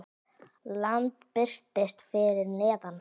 Land birtist fyrir neðan þá.